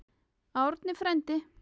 Árni frændi!